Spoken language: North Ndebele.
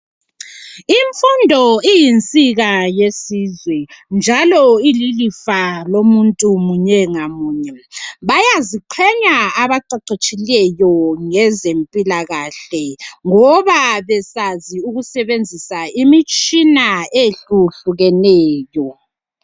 Imfundo iyinsika yesizwe njalo ililifa lomunye ngamunye. Bayaziqenya abaqeqetshileyo ngezemphilakahle, ngoba besazi ukusebenzisa imitshina ehlukehlukeneyo.